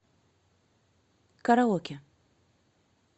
караоке